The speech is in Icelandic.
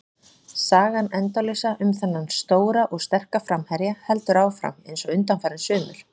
Sagan endalausa um þennan stóra og sterka framherja heldur áfram eins og undanfarin sumur.